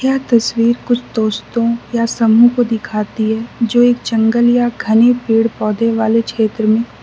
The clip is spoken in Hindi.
यह तस्वीर कुछ दोस्तों या समूह को दिखाती है जो एक जंगल या घने पेड़ पौधे वाले क्षेत्र में --